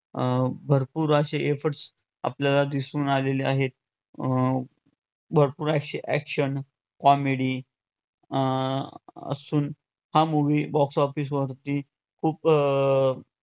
अं भरपूर असे efforts आपल्याला दिसून आलेले आहेत. अं भरपूर असे action, comedy अं असून हा movie box office वरती खूप अं